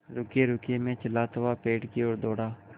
रुकिएरुकिए मैं चिल्लाता हुआ पेड़ की ओर दौड़ा